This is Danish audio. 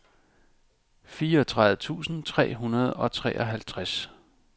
fireogtredive tusind tre hundrede og treoghalvtreds